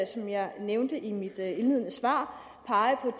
som jeg nævnte i mit indledende svar pege på